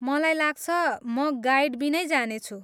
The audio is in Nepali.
मलाई लाग्छ, म गाइडबिनै जानेछु।